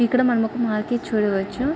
ఇక్కడ మనం ఒక మార్కెట్ చూడవచ్చు.